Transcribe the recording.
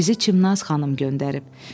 "Bizi Çimnaz xanım göndərib.